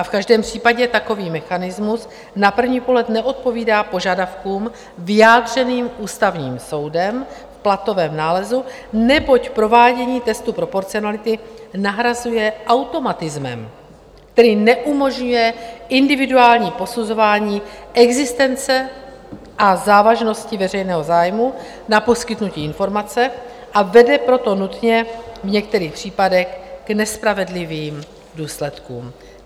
A v každém případě takový mechanismus na první pohled neodpovídá požadavkům vyjádřeným Ústavním soudem v platovém nálezu, neboť provádění testu proporcionality nahrazuje automatismem, který neumožňuje individuální posuzování existence a závažnosti veřejného zájmu na poskytnutí informace, a vede proto nutně v některých případech k nespravedlivým důsledkům.